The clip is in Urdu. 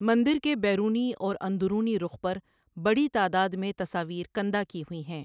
مندر کے بیرونی اور اندرونی رخ پر بڑی تعداد میں تصاویر کندہ کی ہوئی ہیں۔